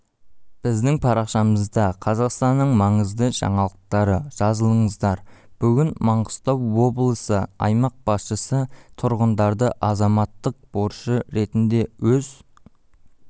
біздің парақшамызда қазақстанның маңызды жаңалықтары жазылыңыздар бүгін маңғыстау облысы аймақ басшысы тұрғындарды азаматтық борышы ретінде өз